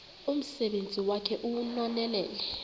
umsebenzi wakhe ewunonelele